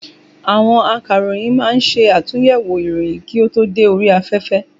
Àwọn Akàròyìn ma ń ṣàtúnyẹ̀wò ìròyìn kí ó tó dé orí afẹ́fẹ́.